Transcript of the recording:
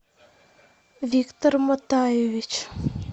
виктор мотаевич